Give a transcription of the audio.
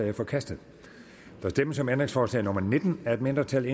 er forkastet der stemmes om ændringsforslag nummer nitten af et mindretal